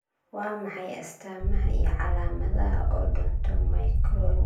Waa maxay astamaha iyo calaamadaha Odontomicronychialka dysplasiga?